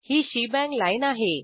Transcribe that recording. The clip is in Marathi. ही शेबांग लाईन आहे